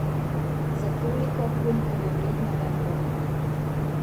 Za toliko, kolikor je vredna, vendar!